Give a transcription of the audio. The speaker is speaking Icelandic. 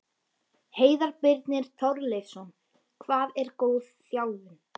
Heiðar Birnir Torleifsson Hvað er góð þjálfun?